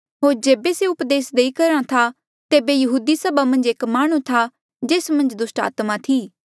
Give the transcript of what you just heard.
होर जेबे से उपदेस देआ करहा था तेबे यहूदी सभा मन्झ एक माह्णुं था जेस मन्झ दुस्टात्मा थी